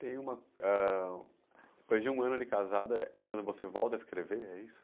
Tem uma... Depois de um ano de casada, é quando você volta a escrever, é isso?